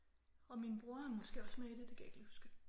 Og min bror er måske også med i det det kan jeg ikke lige huske